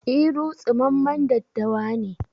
Iru tsumammen daddawa ne